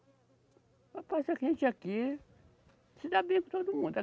Rapaz, a gente aqui se dá bem com todo mundo.